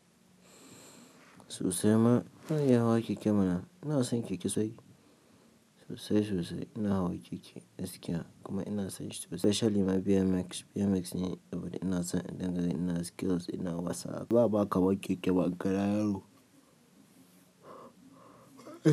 Sosai ma, ina iya hawa keke mana. Ina san keke sai sosai sosai. Ina hawa keke, gaskiya kuma ina son shi specially ma BMX. BMX ne abin da ina son idan gani ina skills ina WhatsApp. Ba'a kawo keke ba, gara yaro.